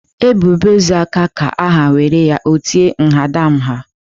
E bibe ozu aka ka a ha nwere ya o tie mhadamha.